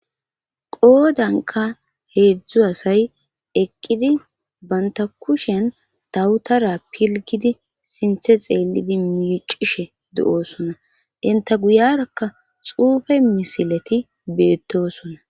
qoodanka heedzdzu asay eqqidi banta kushen dawutara pilgidi sinthe xeellidi miicishe de7oosona denta guyarakka xuufe misileti beettosonna